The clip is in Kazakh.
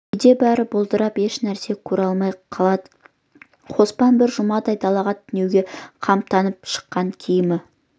кейде бәрі бұлдырап еш нәрсені көре алмай қалады қоспан бір жұмадай далаға түнеуге қамданып шыққан киімі